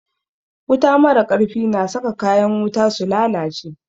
Wuta mara ƙarfi na saka kayan wuta su lalace